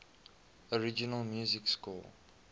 original music score